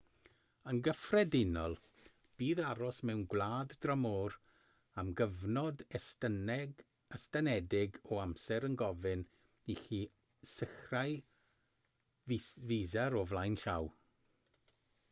yn gyffredinol bydd aros mewn gwlad dramor am gyfnod estynedig o amser yn gofyn i chi sicrhau fisa o flaen llaw